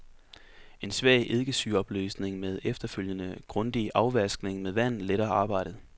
En svag eddikesyreopløsning med efterfølgende grundig afvaskning med vand letter arbejdet.